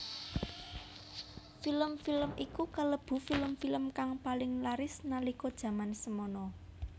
Film film iku kalebu film film kang paling laris nalika jaman samana